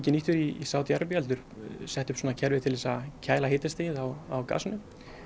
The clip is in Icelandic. nýttur í Sádi Arabíu heldur sett upp svona kerfi til þess að kæla hitastigið á gasinu